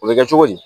O bɛ kɛ cogo di